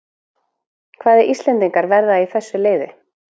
Hvaða íslendingar verða í þessu liði?